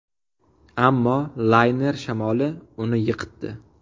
Ammo layner shamoli uni yiqitdi.